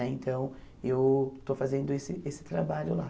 Né então, eu estou fazendo esse esse trabalho lá.